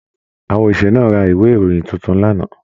Àwọn oṣiṣẹ náà rà ìwé ìròyìn títún l'ana.